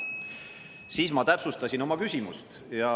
Siis ma täpsustasin oma küsimust.